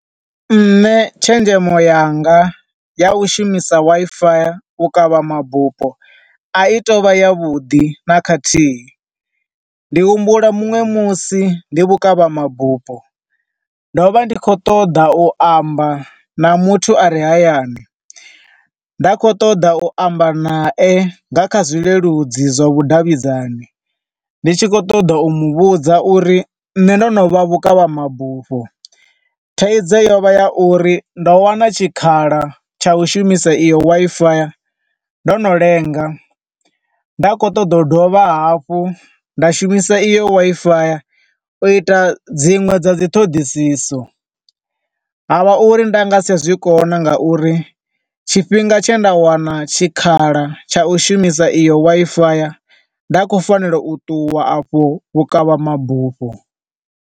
Nṋe tshenzhemo yanga ya u shumisa Wi-Fi u kavha mabufho a i tovha ya vhuḓi na khathihi, ndi humbula muṅwe musi ndi vhukavha mabufho ndo vha ndi khou ṱoḓa u amba na muthu a re hayani, nda kho ṱoḓa u amba na e na kha zwileludzi zwa vhudavhidzani, ndi tshi khou ṱoḓa u muvhudza uri nne ndo no vha vhukavha mabufho, thaidzo yo vha ya uri ndo wana tshikhala tsha u shumisa iyo Wi-Fi, ndo no lenga. Nda kho ṱoḓa u dovha hafhu nda shumisa iyo Wi-Fi u ita dzinwe dza dzi ṱhoḓisiso, ha vha uri nda nga si tsha zwi kona nga uri tshifhinga tshe nda wana tshikhala tsha u shumisa iyo Wi-Fi nda khou fanela u ṱuwa a fho vhukavha mabufho.